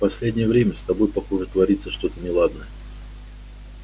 последнее время с тобой похоже творится что-то неладное